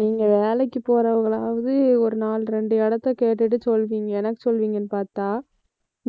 நீங்க வேலைக்கு போறவங்களாவது ஒரு நாலு ரெண்டு இடத்தை கேட்டுட்டு சொல்வீங்க. எனக்கு சொல்லுவீங்கன்னு பார்த்தா